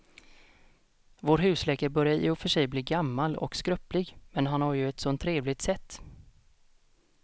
Vår husläkare börjar i och för sig bli gammal och skröplig, men han har ju ett sådant trevligt sätt!